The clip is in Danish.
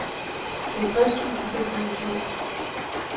halvtreds tusind fem hundrede og tolv